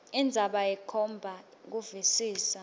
indzaba ikhomba kuvisisa